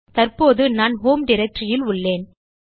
தற்போது நான் ஹோம் Directoryல் உள்ளேன்